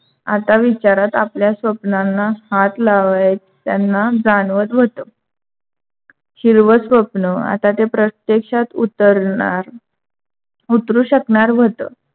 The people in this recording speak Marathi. आता विचारात आपल्या स्वपनांना हाथ लावायतांना जाणवत होता. हिरव स्वप्न आता प्रत्यक्षात उतरणार उतरु शकणार होता.